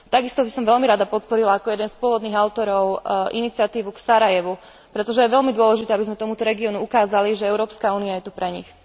Takisto by som veľmi rada podporila ako jeden z pôvodných autorov iniciatívu k Sarajevu, pretože je veľmi dôležité, aby sme tomuto regiónu ukázali, že Európska únia je tu pre nich.